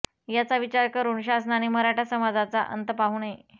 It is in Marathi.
याचा विचार करुन शासनाने मराठा समाजाचा अंत पाहू नये